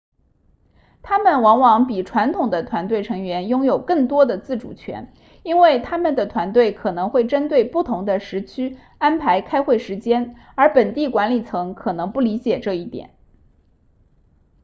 他们往往比传统的团队成员拥有更多的自主权因为他们的团队可能会针对不同的时区安排开会时间而本地管理层可能不理解这一点